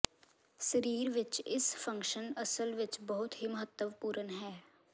ਸਰੀਰ ਵਿੱਚ ਇਸ ਫੰਕਸ਼ਨ ਅਸਲ ਵਿੱਚ ਬਹੁਤ ਹੀ ਮਹੱਤਵਪੂਰਨ ਹੈ